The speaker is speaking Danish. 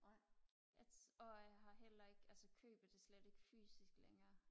og jeg har heller ikke altså køber det slet ikke fysisk længere